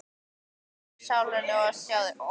Mig svíður í sálina að sjá þig.